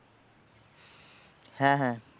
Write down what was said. হ্যাঁ হ্যাঁ।